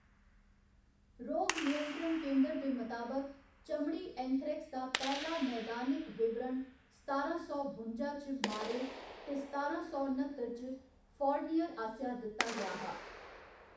रोग नियंत्रण केंदर दे मताबक चमड़ी एंथ्रेक्स दा पैह्‌‌ला नैदानिक ​​विवरण सतारां सौ बुंजा च मारेट ते सतारां सौ न्ह्‌त्तर च फोरनियर आसेआ दित्ता गेआ हा।